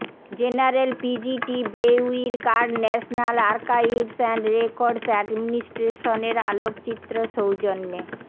general PGT Beauregard National Archives and Records এ্যাডমিনিস্ট্রেশনের আলোকচিত্র সৌজন্যে